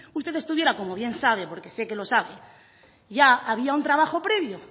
usted estuviera como bien sabe porque sé que lo sabe ya había un trabajo previo